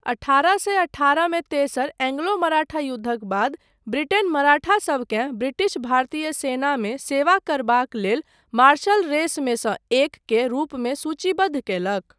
अठारह सए अठारह मे तेसर एंग्लो मराठा युद्धक बाद ब्रिटेन मराठासबकेँ ब्रिटिश भारतीय सेनामे सेवा करबाक लेल मार्शल रेसमे सँ एक के रूपमे सूचीबद्ध कयलक।